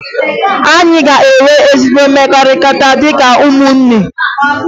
Anyị ga-enwe ezi mmekọrịta dịka ụmụnne